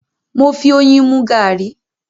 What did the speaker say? Mo fi oyin mú garri